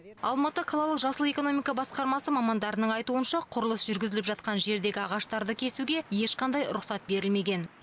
алматы қалалық жасыл экономика басқармасы мамандарының айтуынша құрылыс жүргізіліп жатқан жердегі ағаштарды кесуге ешқандай рұқсат берілмеген